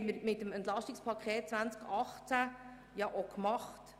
Das haben wir mit dem EP 2018 auch gemacht.